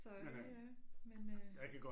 Så det øh men øh